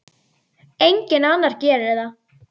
Enginn annar gerir það.